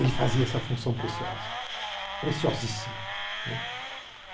Ele fazia essa função preciosa, preciosíssima.